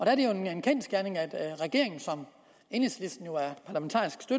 er jo en kendsgerning at regeringen som enhedslisten